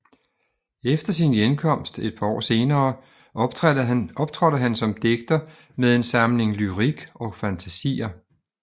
Efter sin hjemkomst et par år senere optrådte han som digter med en samling Lyrik och fantasier